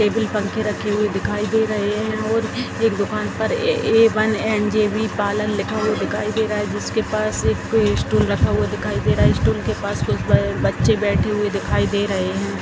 Table पंखे रखे हुए दिखाई दे रहे है और एक दुकान पर A one N J B लिखा हुआ दिखाई दे रहा है जिसके पास स्टूल रखा हुआ दिखाई दे रहा है इस स्टूल के पास कुछ बच्चे बैठे हुए दिखाई दे रहे हैं।